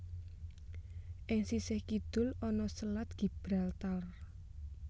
Ing sisih kidul ana Selat Gibraltar